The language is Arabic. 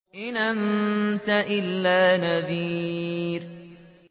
إِنْ أَنتَ إِلَّا نَذِيرٌ